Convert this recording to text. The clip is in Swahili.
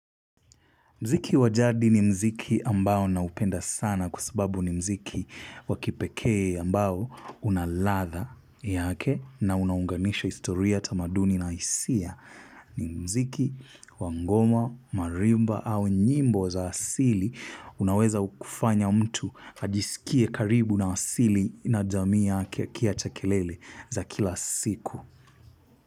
Muziki wa jadi ni muziki ambao naupenda sana kwa sababu ni muziki wakipekee ambao unaladha yake na unaunganisha historia tamaduni na hisia. Ni muziki wangoma, marimba au nyimbo za asili unaweza kufanya mtu ajisikie karibu na asili na jamii yake kiachakelele za kila siku.